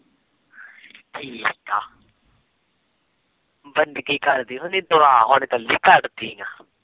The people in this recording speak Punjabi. ਠੀਕ ਆ